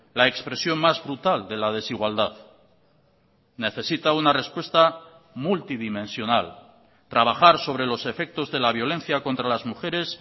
la expresión más brutal de la desigualdad necesita una respuesta multidimensional trabajar sobre los efectos de la violencia contra las mujeres